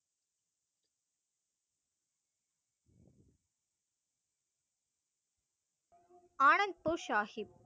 Anandpur Sahib,